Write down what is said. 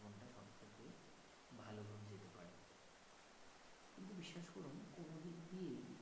কিন্তু বিশ্বাস করুন কোন দিক দিয়েই